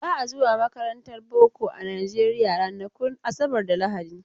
Ba a zuwa makarantar boko a Najeriya ranakun asabar da lahadi.